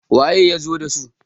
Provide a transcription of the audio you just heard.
waye ya zo da su?